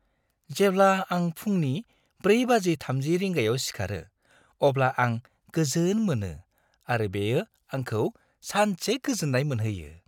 जेब्ला आं फुंनि 4.30 रिंगायाव सिखारो अब्ला आं गोजोन मोनो आरो बेयो आंखौ सानसे गोजोन्नाय मोनहोयो।